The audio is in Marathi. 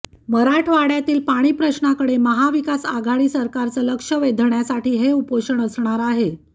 मराठवाड्यातील पाणी प्रश्नाकडे महाविकास आघाडी सरकारचं लक्ष वेधण्यासाठी हे उपोषण असणार आहे